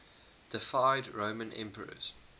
deified roman emperors